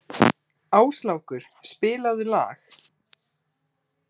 Áslákur, spilaðu lag.